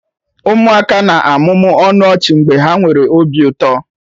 Ụmụaka na-amụmụ ọnụ ọchị mgbe ha nwere obi ụtọ.